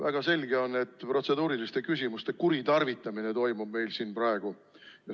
Väga selge on, et protseduuriliste küsimuste kuritarvitamine toimub meil siin praegu.